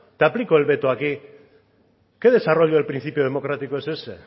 te aplico el veto aquí qué desarrollo del principio democrático es ese